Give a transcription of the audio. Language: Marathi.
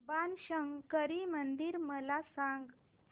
बाणशंकरी मंदिर मला सांग